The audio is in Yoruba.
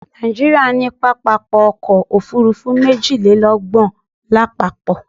Nàìjíríà ní pápákọ̀ ọ̀kọ òfurufú méjìlélọ́gbọ̀n lápapọ̀